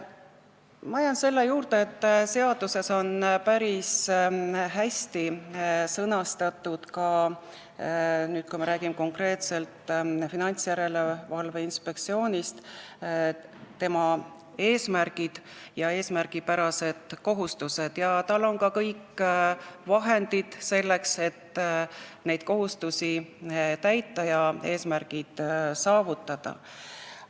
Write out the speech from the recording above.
Ma jään selle juurde, et kui me räägime Finantsinspektsioonist, siis võib öelda, et seaduses on päris hästi sõnastatud tema eesmärgid ja eesmärgipärased kohustused ning tal on ka kõik vahendid selleks, et neid kohustusi täita ja eesmärgid saavutada.